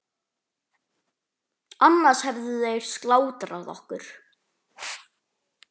Annars hefðu þeir slátrað okkur.